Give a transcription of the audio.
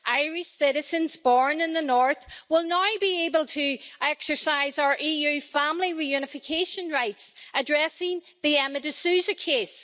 Irish citizens born in the north will now be able to exercise their EU family reunification rights, addressing the Emma DeSouza case.